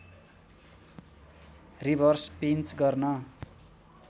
reverse pinch गर्न